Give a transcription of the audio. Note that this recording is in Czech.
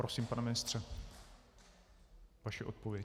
Prosím, pane ministře, vaše odpověď.